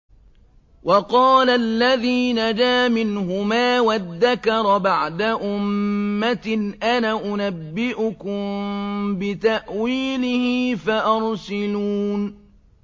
وَقَالَ الَّذِي نَجَا مِنْهُمَا وَادَّكَرَ بَعْدَ أُمَّةٍ أَنَا أُنَبِّئُكُم بِتَأْوِيلِهِ فَأَرْسِلُونِ